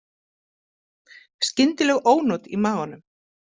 Skyndileg ónot í maganum.